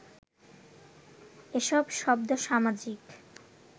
এসব শব্দ সামাজিক